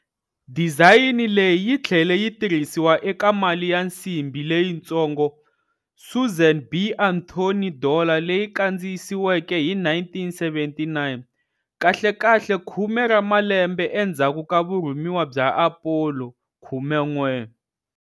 Dizayini leyi yi tlhele yi tirhisiwa eka mali ya nsimbi leyitsongo, Susan B. Anthony Dollar leyi kandziyisiweke hi 1979, kahlekahle khume ra malembe endzhaku ka vurhumiwa bya Apollo 11.